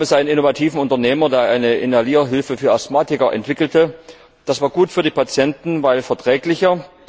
Da gab es einen innovativen Unternehmer, der eine Inhalierhilfe für Asthmatiker entwickelte. Das war gut für die Patienten, weil verträglicher.